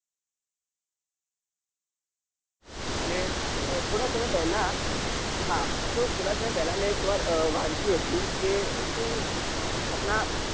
અને થોડા સમય પેલા હા તો થોડા સમય પેલા મેં એક વાર વાંચ્યું હતું કે